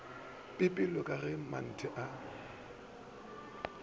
pipelo ke ge mantle a